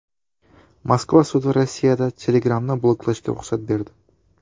Moskva sudi Rossiyada Telegram’ni bloklashga ruxsat berdi .